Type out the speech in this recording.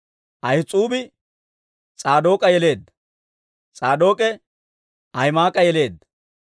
Ahis'uubi S'aadook'a yeleedda; S'aadook'e Ahima'aas'a yeleedda;